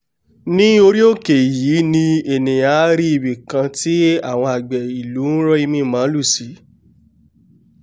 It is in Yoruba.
ní orí òkè yìí ènìà á rí ibìkan tí àwọn àgbẹ̀ ilú ń rọ́ imíi màlúù sí